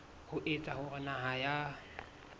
ho etsa hore naha ya